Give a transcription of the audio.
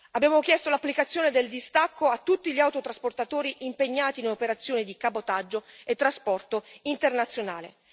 Abbiamo chiesto l'applicazione del distacco a tutti gli autotrasportatori impegnati in operazioni di cabotaggio e trasporto internazionale.